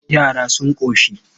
Yara sun ƙoshi?